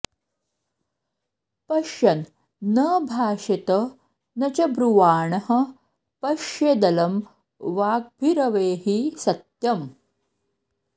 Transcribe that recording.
पश्यन् न भाषेत न च ब्रुवाणः पश्येदलं वाग्भिरवेहि सत्यम्